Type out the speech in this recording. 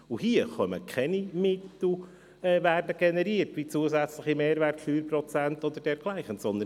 Hier werden jedoch keine Mittel wie zusätzliche Mehrwertsteuerprozente oder dergleichen generiert.